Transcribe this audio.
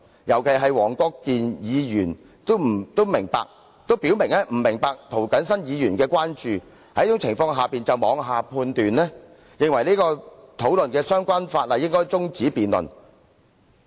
尤其是黃議員已表明他不明白涂謹申議員的關注事項，卻認為應該中止此項討論相關附屬法例的辯論，他這樣是妄下判斷。